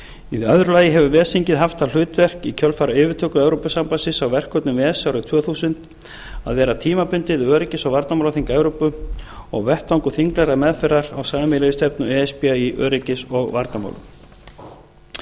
í öðru lagi hefur ves þingið haft það hlutverk í kjölfar yfirtöku evrópusambandinu á verkefnum ves árið tvö þúsund að vera tímabundið öryggis og varnarmálaþing evrópu og vettvangur þinglegrar meðferðar á sameiginlegri stefnu e s b í öryggis og varnarmálum